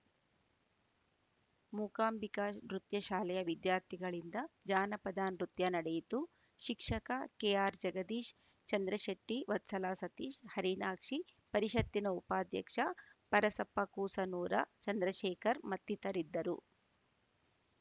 ಮೂಕಾಂಬಿಕ ನೃತ್ಯ ಶಾಲೆಯ ವಿದ್ಯಾರ್ಥಿಗಳಿಂದ ಜಾನಪದ ನೃತ್ಯ ನಡೆಯಿತು ಶಿಕ್ಷಕ ಕೆಆರ್‌ಜಗದೀಶ್‌ ಚಂದ್ರಶೆಟ್ಟಿ ವತ್ಸಲಾ ಸತೀಶ್‌ ಹರಿಣಾಕ್ಷಿ ಪರಿಷತ್ತಿನ ಉಪಾಧ್ಯಕ್ಷ ಪರಸಪ್ಪ ಕೂಸನೂರ ಚಂದ್ರಶೇಖರ್‌ ಮತ್ತಿತರಿದ್ದರು